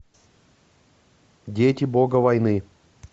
дети бога войны